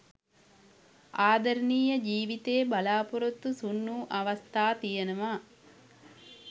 ආදරණීය ජීවිතේ බලාපොරොත්තු සුන් වූ අවස්ථා තියෙනවා.